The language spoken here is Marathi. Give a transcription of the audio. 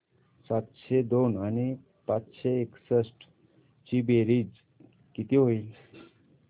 सातशे दोन आणि पाचशे एकसष्ट ची बेरीज किती होईल